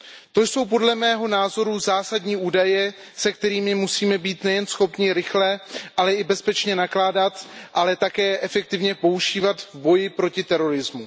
To jsou, podle mého názoru, zásadní údaje, se kterými musíme být nejen schopni rychle, ale i bezpečně nakládat, ale také je efektivně používat v boji proti terorismu.